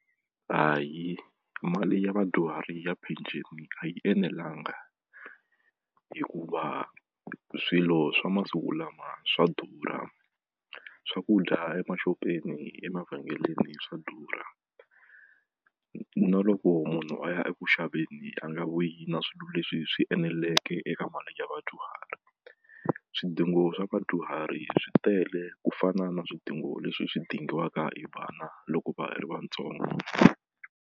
Hayi mali ya vadyuhari ya pension a yi enelanga hikuva swilo swa masiku lama swa durha swakudya emaxopeni emavhengeleni swa durha na loko munhu a ya eku xaveni a nga vuyi na swilo leswi swi eneleke eka mali ya vadyuhari swidingo swa vadyuhari swi tele ku fana na swidingo leswi swi dingiwaka hi vana loko va ha ri vatsongo.